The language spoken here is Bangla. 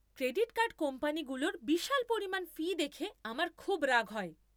ক্রেডিট কার্ড কোম্পানিগুলোর বিশাল পরিমাণ ফি দেখে আমার খুব রাগ হয়।